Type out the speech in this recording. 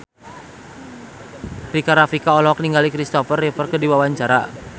Rika Rafika olohok ningali Kristopher Reeve keur diwawancara